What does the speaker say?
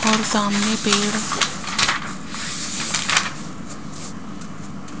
और सामने पेड़--